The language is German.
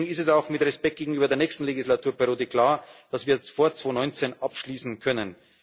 Deswegen ist es auch mit Respekt gegenüber der nächsten Legislaturperiode klar, dass wir vor 2019 abschließen können.